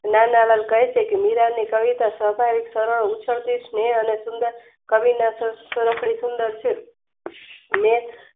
નાનાનંદ કહેછેકે મીરાની કવિતા સ્વાભાવિક, સરળ, ઉછળતી સનેહ અને સુંદર કવિ ના સ સુંદર છે. મેં